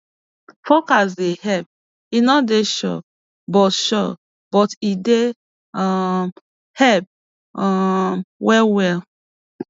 forecast dey help e no dey sure but sure but e dey um help um well well